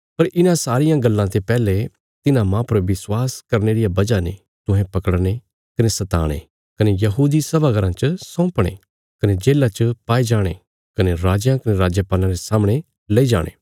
पर इन्हां सारियां गल्लां ते पैहले तिन्हां माह पर विश्वास करने रिया वजह ने तुहें पकड़ने कने सताणे कने यहूदी सभा घराँ च सौंपणे कने जेल्लां च पाये जाणे कने राजयां कने राजपालां रे सामणे लैई जाणे